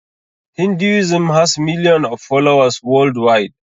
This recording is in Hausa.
hinduism has million of followers world wide